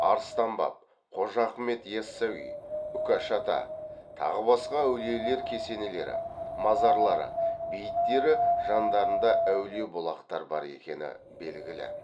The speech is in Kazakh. арыстан баб қожа ахмет ясауи үкаш ата тағы басқа әулиелер кесенелері мазарлары бейіттері жандарында әулие бұлақтар бар екені белгілі